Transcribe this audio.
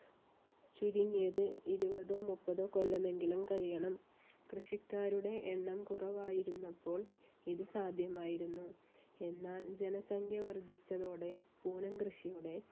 ചുരുങ്ങിയത് ഇരുപതോ, മുപ്പതോ കൊല്ലമെങ്കിലും കഴിയണം. കൃഷിക്കാരുടെ എണ്ണം കുറവായിരുന്നപ്പോൾ ഇത് സാധ്യമായിരുന്നു. എന്നാൽ ജനസംഖ്യ വർദ്ധിച്ചതോടെ പൂനം കൃഷിയുടെ